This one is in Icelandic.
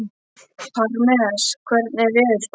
Parmes, hvernig er veðurspáin?